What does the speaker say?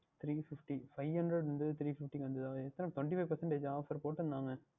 Three fiftyfive hundred இருந்தது Three fifty க்கு வந்ததா எத்தனை Twenty five percentageOffer போட்டு இருந்தாக